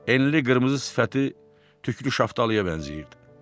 Enli qırmızı sifəti tüklü şaftalıya bənzəyirdi.